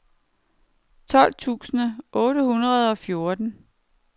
tolv tusind otte hundrede og fjorten